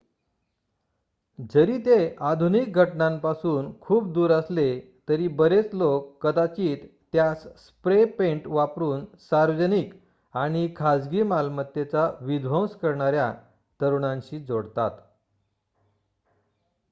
जरी ते आधुनिक घटनांपासून खूप दूर असले तरी बरेच लोक कदाचित त्यास स्प्रे पेंट वापरून सार्वजनिक आणि खाजगी मालमत्तेचा विध्वंस करणाऱ्या तरुणांशी जोडतात